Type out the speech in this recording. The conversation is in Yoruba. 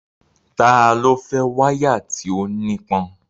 Ta ló fẹ́ wáyà tí ó nípọn?